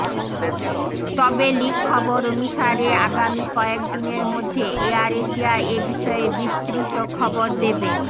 তবে লিক খবর অনুসারে আগামী কয়েকদিনের মধ্যে এয়ার এশিয়া এবিষয়ে বিস্তৃত খবর দেবে